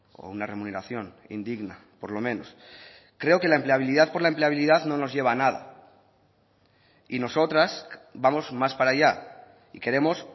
o una remuneración indigna por lo menos creo que la empleabilidad por la empleabilidad no nos lleva a nada y nosotras vamos más para allá y queremos